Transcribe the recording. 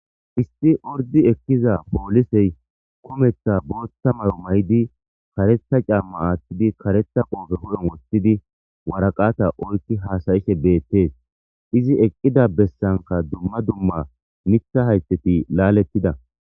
isti urdi ekkiza poolisey koometha boothta mayo may7di karetha camma aattidi karetha qoofe hu7on woththidi waraqata oykki haasayishe beettees izi eqqida bessanka dumma dumma mitha hayteti laalettida.